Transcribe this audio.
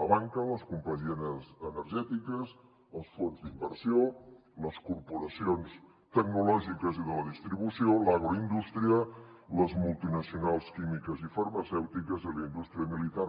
la banca les companyies energètiques els fons d’inversió les corporacions tecnològiques i de la distribució l’agroindústria les multinacionals químiques i farmacèutiques i la indústria militar